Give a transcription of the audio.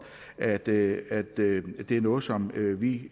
at det er det er noget som vi